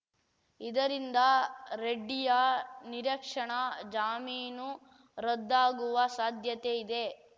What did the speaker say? ಇದರಿಂದ ರೆಡ್ಡಿಯ ನಿರಕ್ಷಣಾ ಜಾಮೀನು ರದ್ದಾಗುವ ಸಾಧ್ಯತೆ ಇದೆ